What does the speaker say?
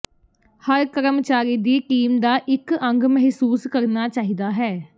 ਹਰ ਕਰਮਚਾਰੀ ਦੀ ਟੀਮ ਦਾ ਇੱਕ ਅੰਗ ਮਹਿਸੂਸ ਕਰਨਾ ਚਾਹੀਦਾ ਹੈ